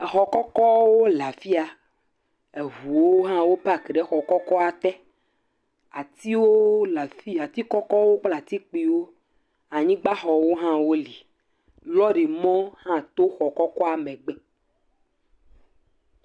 Exɔ kɔkɔwo le afi ya eŋuwo hã wo paki ɖe xɔ kɔkɔa te, atiwo ati kɔkɔwo kple ati kpuiwo, anyigbaxɔwo hã li lɔɖimɔwo hã to xɔ kɔkɔa megbe.